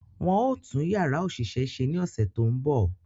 Wọ́n ó tún Yàrá òṣìṣẹ́ ṣe ní ọ̀sẹ̀ tó ń bọ̀